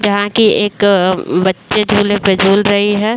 जहाँ की एक अअ बच्चे झूले पे झूल रही है।